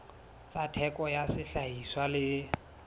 tsa theko ya sehlahiswa le